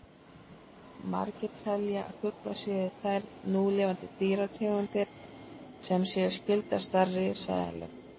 Margir telja að fuglar séu þær núlifandi dýrategundir sem séu skyldastar risaeðlum.